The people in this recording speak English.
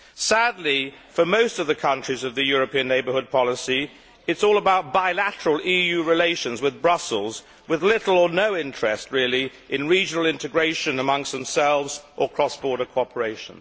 Sadly, for most of the countries of the European neighbourhood policy, it is all about bilateral EU relations with Brussels, with little or no interest really in regional integration amongst themselves or in cross border cooperation.